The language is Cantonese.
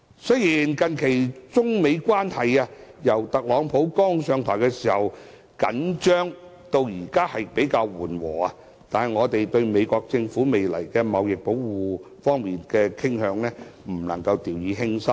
雖然中美關係由特朗普剛上台時出現緊張，到近期較為緩和，但對於美國政府在未來可能出現的貿易保護主義傾向，我們不能掉以輕心。